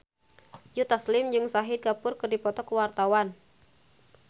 Joe Taslim jeung Shahid Kapoor keur dipoto ku wartawan